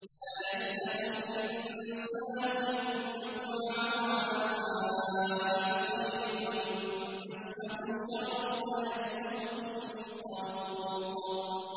لَّا يَسْأَمُ الْإِنسَانُ مِن دُعَاءِ الْخَيْرِ وَإِن مَّسَّهُ الشَّرُّ فَيَئُوسٌ قَنُوطٌ